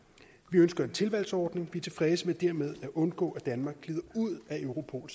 vi ønsker en tilvalgsordning vi er tilfredse med dermed at undgå at danmark glider ud af europol